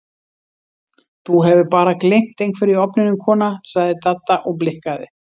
Þú hefur bara gleymt einhverju í ofninum kona sagði Dadda og blikkaði